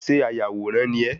Ṣé ayàwòrán ni ẹ́?